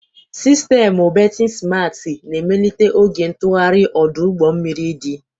Sistemụ bertin simarti na-emelite oge ntụgharị ọdụ ụgbọ mmiri dị.